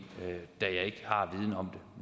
da jeg ikke har viden om